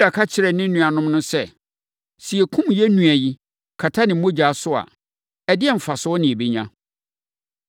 Yuda ka kyerɛɛ ne nuanom no sɛ, “Sɛ yɛkum yɛn nua yi, kata ne mogya so a, ɛdeɛn mfasoɔ na yɛbɛnya.